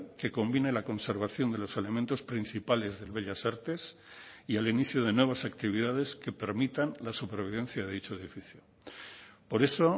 que convine la conservación de los elementos principales del bellas artes y el inicio de nuevas actividades que permitan la supervivencia de dicho edificio por eso